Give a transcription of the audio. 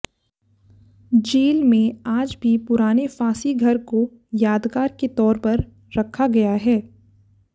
jail में आज भी पुराने फांसी घर को यादगार के तौर पर रखा गया है